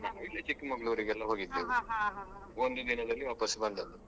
ನಾವ್ ಇಲ್ಲೇ Chikkamangaluru ಎಲ್ಲ ಒಂದೇ ದಿನದಲ್ಲಿ ವಾಪಸ್ ಬಂದದ್ದು.